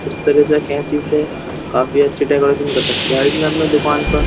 उस तरह से कैंची से काफ़ी अच्छी डेकोरेशन कर रखी है यार इसने अपनी दुकान पर।